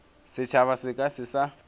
setšhaba se ka se sa